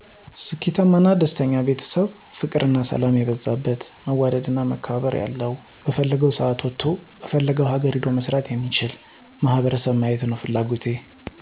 ስኬታማ እና ደስተኛ ቤተሰብ ፍቅር እና ሰላም የበዛለት መዋደድ መከባበር ያለዉ በፈለገዉ ሰአት ወጥቶ በፈለገዉ ሀገር ሄዶ መስራት የሚችል ማህበረሰብ ማየት ነዉ ፍላጎቴ።